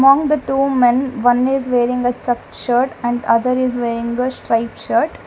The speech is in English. Among the two men one is wearing a check shirt and other is wearing the straight shirt.